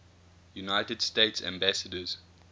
united states ambassadors